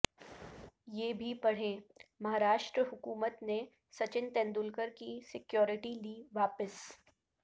یہ بھی پڑھیں مہاراشٹر حکومت نے سچن تینڈولکر کی سکیورٹی لی واپس